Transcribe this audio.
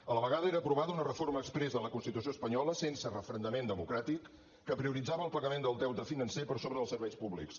a la vegada era aprovada una reforma exprés de la constitució espanyola sense referendament democràtic que prioritzava el pagament del deute financer per sobre dels serveis públics